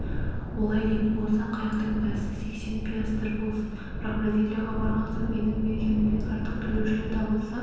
олай дейтін болсаң қайықтың бәсі сексен пиастр болсын бірақ бразилияға барған соң менің бергенімнен артық төлеушілер табылса